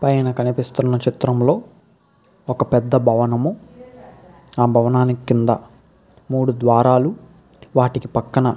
పైన కనిపిస్తున్న చిత్రం లో ఒక పెద్ధ భవనము. ఆ భవనానికి కింద మూడు ద్వారాలు వాటికి పక్కన --